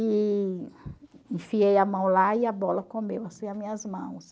E enfiei a mão lá e a bola comeu as minhas mãos.